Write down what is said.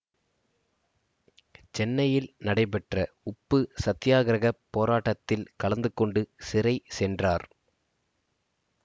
சென்னையில் நடைபெற்ற உப்பு சத்தியாக்கிரகப் போராட்டத்தில் கலந்துகொண்டு சிறை சென்றார்